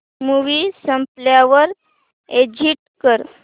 movie संपल्यावर exit कर